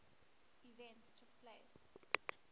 events took place